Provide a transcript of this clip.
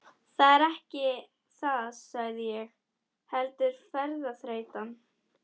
Það er ekki það sagði ég, heldur ferðaþreytan.